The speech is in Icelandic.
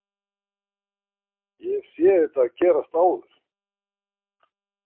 Ég hef séð þetta gerast áður.